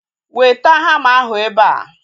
Weta hama ahu ebea!